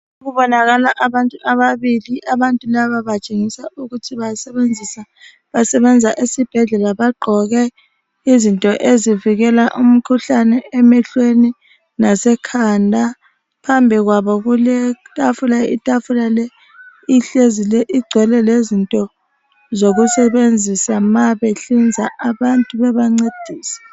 Kubonakala abantu ababili, abantu laba batshengisa ukuthi basebenzisa basebenza esibhedlela bagqoke izinto ezivikela umkhuhlane emehlweni lase khanda. Phambi kwabo kuletafula, itafula le ihlezi igcwele lezinto zokusebenzisa ma behliza abantu bebancedisa.